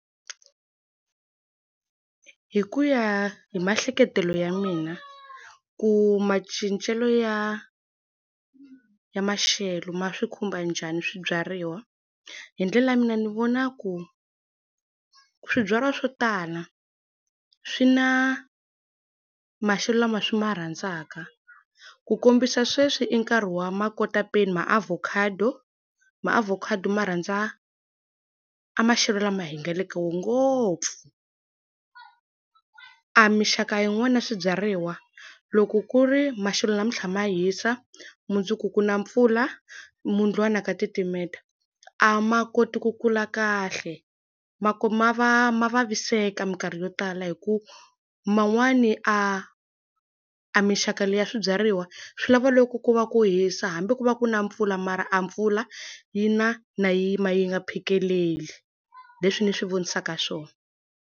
Hi ku ya hi maehleketelo ya mina, ku macincelo ya ya maxelo ma swi khumba njhani swibyariwa. Hi ndlela ya mina ni vona ku, swibyariwa swo tala swi na maxelo lama swi ma rhandzaka. Ku kombisa sweswi i nkarhi wa makotapeni maavokhado, maavokhado ma rhandzaka a maxelo lama hi nga le ka wona ngopfu. A minxaka yin'wani ya swibyariwa, loko ku ri maxelo namuntlha ma hisa, mundzuku ku na mpfula, mundlwana ka titimela, a ma koti ku kula kahle. Ma ma ma vaviseka minkarhi yo tala hikuva man'wani a a minxaka liya swibyariwa swi lava loko ku va ku hisa hambi ku va ku na mpfula mara a mpfula, yi na na yi yima yi nga phakeleli. Hi leswi ni swi vonisaka swona.